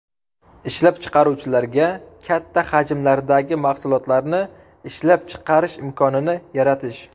Ishlab chiqaruvchilarga katta hajmlardagi mahsulotlarni ishlab chiqish imkonini yaratish.